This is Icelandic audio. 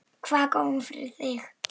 Hvað kom fyrir þig?